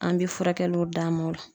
An be furakɛliw d'a ma o la.